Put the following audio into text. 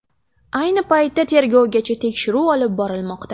Ayni paytda tergovgacha tekshiruv olib borilmoqda.